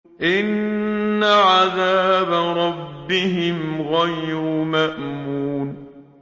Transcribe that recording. إِنَّ عَذَابَ رَبِّهِمْ غَيْرُ مَأْمُونٍ